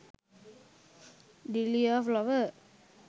deliya flower